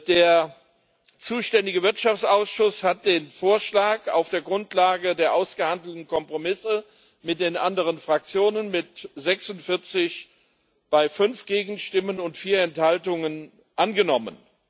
Der zuständige Wirtschaftsausschuss hat den Vorschlag auf der Grundlage der ausgehandelten Kompromisse mit den anderen Fraktionen mit 46 Stimmen bei 5 Gegenstimmen und 4 Enthaltungen angenommen.